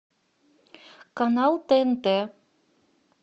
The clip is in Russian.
канал тнт